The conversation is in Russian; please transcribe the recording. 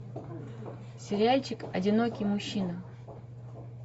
сериальчик одинокий мужчина